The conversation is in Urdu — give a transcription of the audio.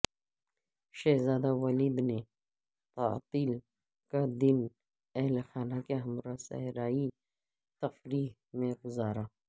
شہزادہ ولید نے تعطیل کا دن اہلخانہ کے ہمراہ صحرائی تفریح میں گزارا